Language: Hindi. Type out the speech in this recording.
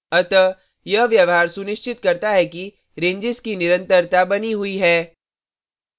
अतः यह व्यवहार सुनिश्चित करता है कि रेंजेस की निरंतरता बनी हुई है